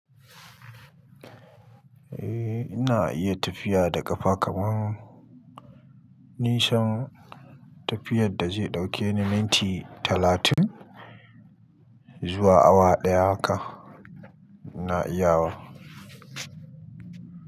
Eh, ina iya tafiya da ƙafa kaman nisan tafiyar da zai ɗauke ni minti talatin zuwa awa ɗaya haka, ina iya wa.